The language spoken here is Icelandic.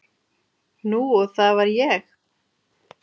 Nú og það var ég.